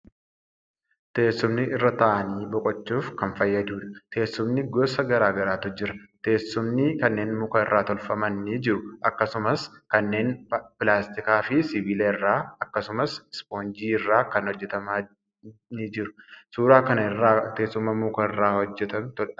Teessumni irra taa'anii boqochuuf kan fayyadudha. Teessumni gosa gara garaatu jira. Teessumni kanneen muka irraa tolfaman ni jiru akkasumas kanneen pilaastikaa fi sibiila irraa akkasumas ispoonjii irraa kan hojjetama ni jiru. Suuraa kana irraa teessuma muka irraa tolfane argina.